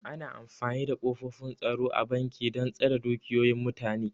Ana amfani da ƙofofin tsaro a banki dan tsare dukiyoyin mutane